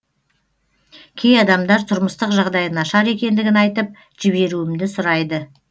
кей адамдар тұрмыстық жағдайы нашар екендігін айтып жіберуімді сұрайды